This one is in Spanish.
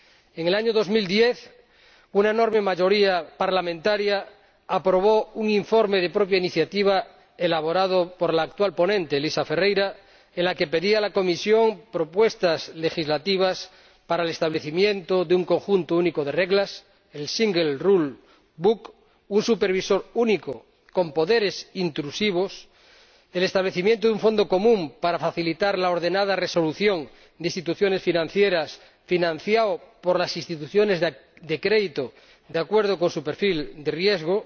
En el año 2010 una enorme mayoría parlamentaria aprobó un informe de propia iniciativa elaborado por la actual ponente, Elisa Ferreira, en el que pedía a la Comisión propuestas legislativas para el establecimiento de un código normativo único un supervisor único con poderes intrusivos y un fondo común para facilitar la ordenada resolución de instituciones financieras, financiado por las instituciones de crédito de acuerdo con su perfil de riesgo,